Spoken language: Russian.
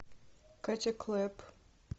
катя клэп